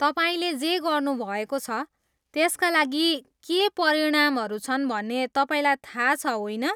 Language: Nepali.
तपाईँले जे गर्नुभएको छ, त्यसका लागि के परिणामहरू छन् भन्ने तपाईँलाई थाहा छ, होइन?